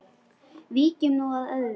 Víkjum nú að öðru.